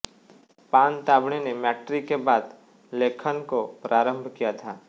पानतावणे ने मॅट्रिक के बाद लेखन को प्रारम्भ किया था